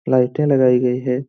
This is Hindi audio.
लाइटें लगाई गई हैं।